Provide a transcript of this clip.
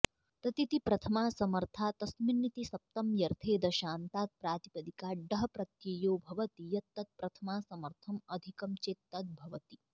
ततिति प्रथमासमर्थातस्मिनिति सप्तम्यर्थे दशान्तात् प्रातिपदिकात् डः प्रत्ययो भवति यत् तत्प्रथमासमर्थम् अधिकं चेत् तद् भवति